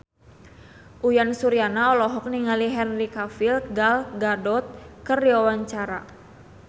Uyan Suryana olohok ningali Henry Cavill Gal Gadot keur diwawancara